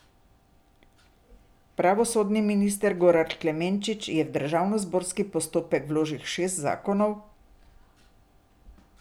Pravosodni minister Goran Klemenčič je v državnozborski postopek vložil šest zakonov.